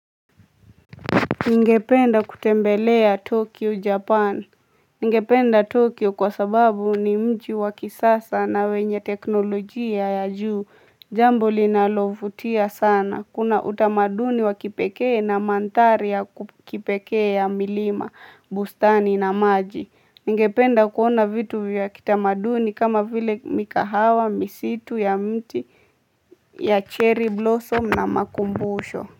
Ningependa kutembelea Tokyo Japan. Ningependa Tokyo kwa sababu ni mji wa kisasa na wenye teknolojia ya juu jambo linalovutia sana. Kuna utamaduni wa kipekee na mandhari ya kipee ya milima, bustani na maji. Ningependa kuona vitu ya kitamaduni kama vile mikahawa, misitu ya mti ya cherry blossom na makumbusho.